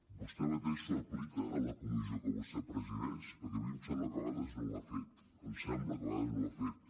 vostè mateix s’ho aplica a la comissió que vostè presideix perquè a mi em sembla que a vegades no ho ha fet em sembla que a vegades no ho ha fet